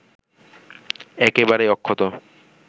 একেবারেই অক্ষত